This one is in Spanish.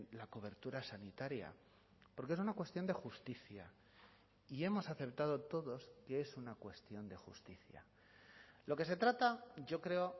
la cobertura sanitaria porque es una cuestión de justicia y hemos aceptado todos que es una cuestión de justicia lo que se trata yo creo